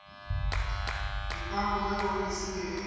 di ka romelwa ofising efe